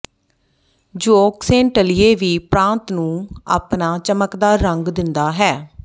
zooxanthellae ਵੀ ਪ੍ਰਾਂਤ ਨੂੰ ਆਪਣਾ ਚਮਕਦਾਰ ਰੰਗ ਦਿੰਦਾ ਹੈ